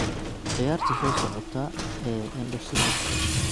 ciyaarta soo socota ee indho-shareerka